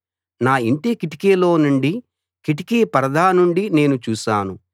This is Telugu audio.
నా యింటి కిటికీలో నుండి కిటికీ పరదా నుండి నేను చూశాను